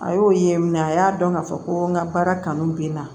A y'o ye a y'a dɔn k'a fɔ ko n ka baara kanu bɛ n na